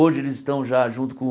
Hoje eles estão já junto com o